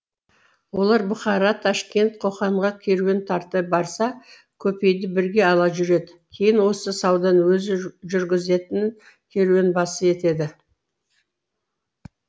олар бұхара ташкент қоқанға керуен тарта барса көпейді бірге ала жүреді кейін осы сауданы өзі жүргізетін керуенбасы етеді